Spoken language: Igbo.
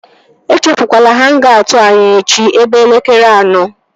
Echefukwala hang-aut anyị echi ebe elekere anọ!